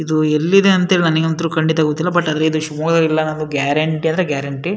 ಇದು ಎಲ್ಲಿನೆ ಅಂತ ನನಗಂತೂ ಗೊತ್ತಿಲ್ಲ ಬಟ್ ಶಿವಮೊಗ್ಗ ಜಿಲ್ಲೆ ಅನ್ನೋದ್ ಗ್ಯಾರೆಂಟಿ ಅಂದ್ರೆ ಗ್ಯಾರೆಂಟಿ --